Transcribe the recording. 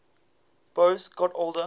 boas got older